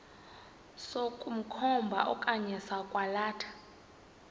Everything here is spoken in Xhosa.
sokukhomba okanye sokwalatha